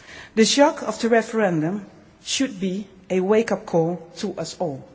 The shock of the referendum should be a wake-up call to us all.